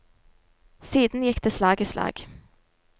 Siden gikk det slag i slag.